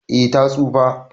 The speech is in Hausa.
Eh ta tsufa.